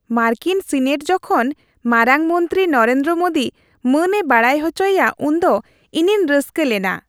ᱢᱟᱨᱠᱤᱱ ᱥᱤᱱᱮᱴ ᱡᱚᱠᱷᱚᱱ ᱢᱟᱨᱟᱝ ᱢᱚᱱᱛᱨᱤ ᱱᱚᱨᱮᱱᱫᱨᱚ ᱢᱳᱫᱤ ᱢᱟᱹᱱᱮ ᱵᱟᱲᱟᱭ ᱦᱚᱪᱚᱭᱮᱭᱟ ᱩᱱᱫᱚ ᱤᱧᱤᱧ ᱨᱟᱹᱥᱠᱟᱹ ᱞᱮᱱᱟ ᱾